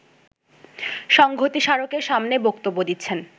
সংঘতি স্মারকের সামনেই বক্তব্য দিচ্ছেন